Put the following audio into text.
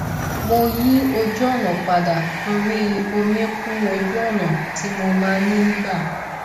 mo yí ojúọ̀nà padà torí omi kún ojúọ̀nà tí mo máa ń gbà